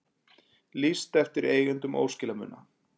Lýst eftir eigendum óskilamuna